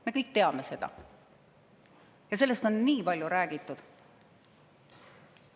Me kõik teame seda ja sellest on nii palju räägitud.